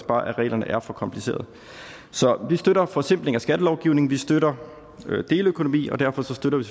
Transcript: at reglerne er for komplicerede så vi støtter en forsimpling af skattelovgivningen vi støtter deleøkonomi og derfor støtter vi